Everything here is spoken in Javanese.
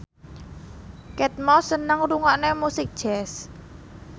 Kate Moss seneng ngrungokne musik jazz